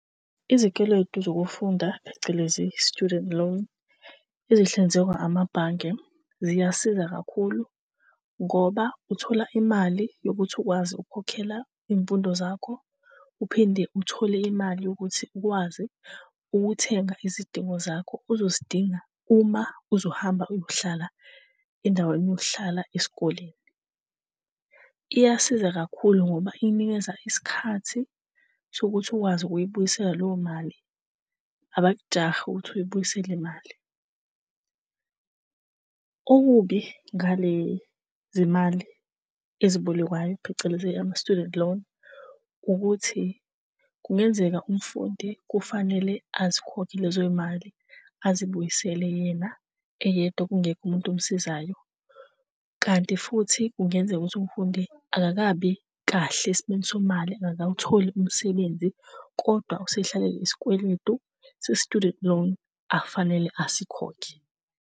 Izikweletu zokufunda phecelezi, student loan, ezinhlinzekwa amabhange ziyasiza kakhulu ngoba uthola imali yokuthi ukwazi ukukhokhela iy'mfundo zakho. Uphinde uthole imali ukuthi ukwazi ukuthenga izidingo zakho ozozidinga uma uzohamba uyohlala endaweni yokuhlala esikoleni. Iyasiza kakhulu ngoba ikunikeza isikhathi sokuthi ukwazi ukuyibuyisela leyo mali, abakujahile ukuthi uyibuyisele imali. Okubi ngale zimali ezibolekwayo phecelezi, ama-student loan, ukuthi kungenzeka umfundi kufanele azikhokhe lezo y'mali azibuyisele yena eyedwa kungekho umuntu omsizayo. Kanti futhi kungenzeka ukuthi umfundi akakabi kahle esimeni semali, engakawutholi umsebenzi, kodwa usehlalele isikweletu se-student loan akufanele asikhokhe.